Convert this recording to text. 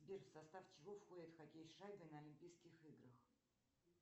сбер в состав чего входит хоккей с шайбой на олимпийских играх